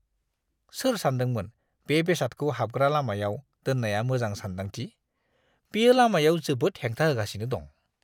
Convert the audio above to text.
सोर सान्दोंमोन बे बेसादखौ हाबग्रा लामायाव दोननाया मोजां सानदांथि? बेयो लामायाव जोबोद हेंथा होगासिनो दं!